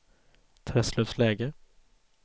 Träslövsläge